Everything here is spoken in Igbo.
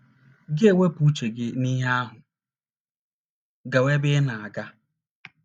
Gị ewepụ uche gị n’ihe ahụ, gawa ebe ị na - aga.